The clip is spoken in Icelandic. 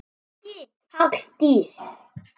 Ekki Halldís